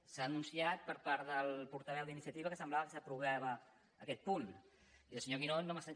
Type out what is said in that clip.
s’ha anunciat per part del portaveu d’iniciativa que semblava que s’aprovava aquest punt i el senyor guinó no m’ha